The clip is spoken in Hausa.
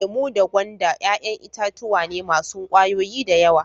Lemu da gwanda yayan itatuwa ne masun kwayoyi da yawa.